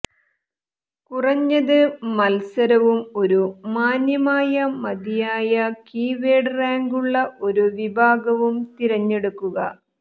കുറഞ്ഞത് മത്സരവും ഒരു മാന്യമായ മതിയായ കീവേഡ് റാങ്കുള്ള ഒരു വിഭാഗവും തിരഞ്ഞെടുക്കുക